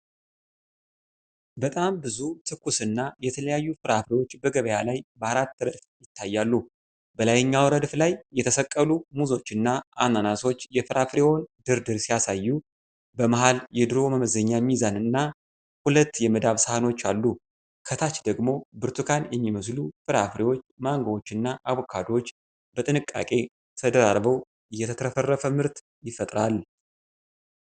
በጣም ብዙ ትኩስና የተለያዩ ፍራፍሬዎች በገበያ ላይ በአራት ረድፍ ይታያሉ። በላይኛው ረድፍ ላይ የተሰቀሉ ሙዞችና አናናሶች የፍራፍሬውን ድርድር ሲያሳዩ፣ በመሃል የድሮ መመዘኛ ሚዛንና ሁለት የመዳብ ሳህኖች አሉ። ከታች ደግሞ ብርቱካን የሚመስሉ ፍራፍሬዎች፣ ማንጎዎችና አቮካዶዎች በጥንቃቄ ተደራርበው የተትረፈረፈ ምርት ይፈጥራል።